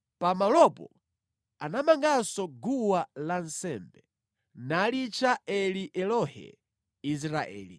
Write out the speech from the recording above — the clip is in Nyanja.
Pamalopo anamanganso guwa lansembe, nalitcha Eli Elohe Israeli.